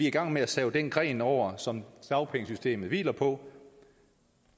i gang med at save den gren over som dagpengesystemet hviler på